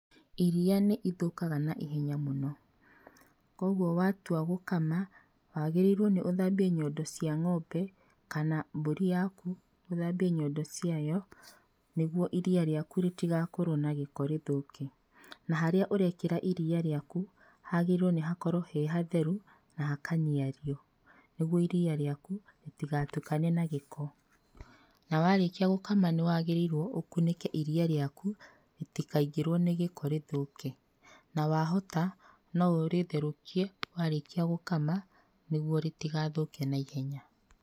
Iria nĩ ithũkaga naihenya mũno, koguo watua gũkama, wagĩrĩirwo nĩ ũthambie nyondo cia ng'ombe kana mbũri yaku, ũthambie nyondo ciayo, nĩguo iria rĩaku rĩtigakorwo na gĩko rĩthũke, na harĩa ũrekĩra iria rĩaku, hagĩrĩirwo nĩ gũkorwo he hatheru, na hakaniario nĩguo iria rĩaku rĩtigatukane na gĩko, na warĩkia gũkama nĩwagĩrĩirwo ũkunĩke iria rĩaku rĩtikaingĩrwo nĩ gĩko rĩthũke, na wahota no ũrĩtherũkie warĩkia gũkama, nĩguo rĩtigathũke naihenya.